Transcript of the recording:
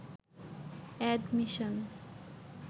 admission